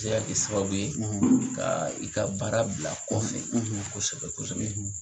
I bɛ se kɛ sababu ye; ; Ka i ka baara bila kɔfɛ; ; kosɛbɛ kosɛbɛ;